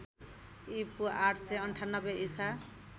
ईपू ८९८ ईसा